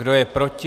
Kdo je proti?